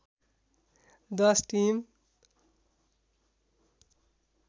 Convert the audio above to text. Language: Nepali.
दश टिम